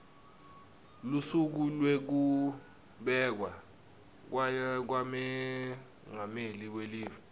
lusuku lwekubekwa kwamengameli welive